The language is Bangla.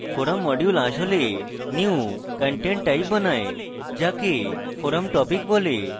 forum module আসলে new content type বানায় যাকে forum topic বলে